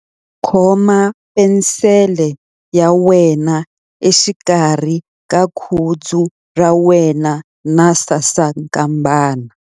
Khoma penisele ya wena exikarhi ka khudzu ra wena na sasankambana.